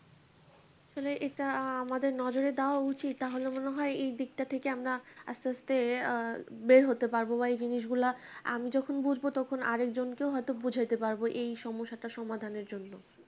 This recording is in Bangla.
আসলে এটা আমাদের নজরে দেওয়া উচিত তাহলে মনে হয় এই দিকটা থেকে আমরা আসতে আসতে আ বের হতে পারবো বা এই জিনিসগুলা আমি যখন বুঝবো তখন আরেকজনকে হয়তো বোঝাতে পারবো এই সমস্যা টা সমাধান এর জন্যে